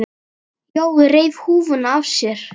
Jói reif húfuna af sér.